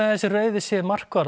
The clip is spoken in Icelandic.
að þessi rauði sé